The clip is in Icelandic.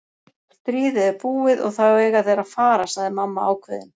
Stríðið er búið og þá eiga þeir að fara, sagði mamma ákveðin.